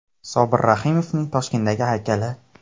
Sobir Rahimovning Toshkentdagi haykali.